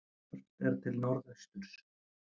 Horft er til norðausturs.